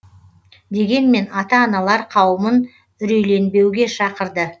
дегенмен ата аналар қауымын үрейленбеуге шақырды